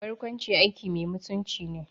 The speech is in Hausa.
Barkwanci aiki mai mutunci ne